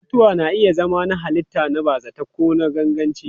Mutuwa na iya zama na halitta, na bazata ko na ganganci.